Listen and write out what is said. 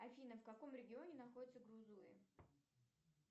афина в каком регионе находится грузуи